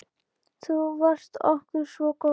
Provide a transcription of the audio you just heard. Þú varst okkur svo góð.